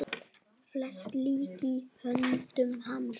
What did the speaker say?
Flest lék í höndum hans.